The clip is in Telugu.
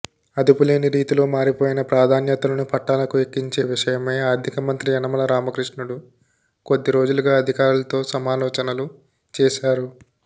అదుపులేని రీతిలో మారిపోయిన ప్రాధాన్యతలను పట్టాలకు ఎక్కించే విషయమై ఆర్ధిక మంత్రి యనమల రామకృష్ణుడు కొద్దిరోజులుగా అధికారులతో సమాలోచనలు చేశారు